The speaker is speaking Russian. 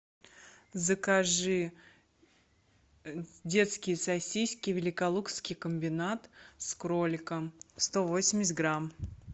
закажи детские сосиски великолукский комбинат с кроликом сто восемьдесят грамм